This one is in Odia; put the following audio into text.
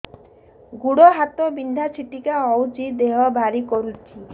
ଗୁଡ଼ ହାତ ବିନ୍ଧା ଛିଟିକା ହଉଚି ଦେହ ଭାରି କରୁଚି